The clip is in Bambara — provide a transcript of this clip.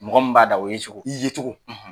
Mɔgɔ mun b'a da o ye cogo. I ye cogo.